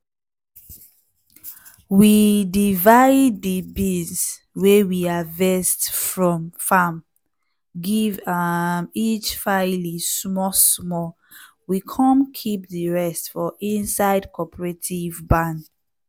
we dive di beans wey we harvest from farm give um each faily small small we come keep di rest for inside cooperative barn.